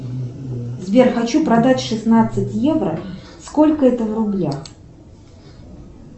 сбер хочу продать шестнадцать евро сколько это в рублях